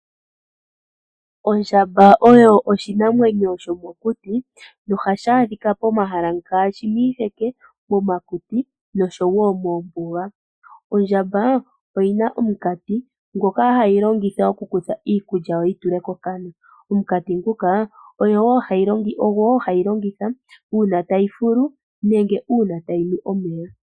Ondjamba oyo oshinamwenyo shomokuti nohadhi adhika pomahala ngaashi miiheke noshowoo moombuga . Ondjamba oyina omukati ngoka hagu longithwa okukutha iikulya noyi tule mokana. Omukati nguka ohagu longithwa okufuta noshowoo okunwa omeya.